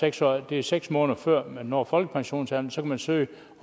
altså at det er seks måneder før man når folkepensionsalderen så kan søge